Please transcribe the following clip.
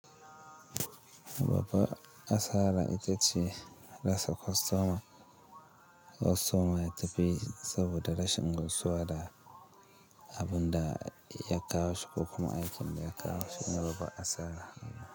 Babban asara ita ce rasa kwastoma. Kwastoma ya tafi saboda rashin gamsuwa da abun da ya kawo shi ko kuma aikin da ya kawo shi. Shine babban asara.